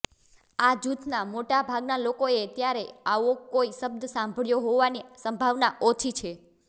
આ જૂથના મોટા ભાગના લોકોએ ત્યારે આવો કોઈ શબ્દ સાંભળ્યો હોવાની સંભાવના ઓછી છે